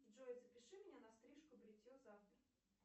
джой запиши меня на стрижку бритье завтра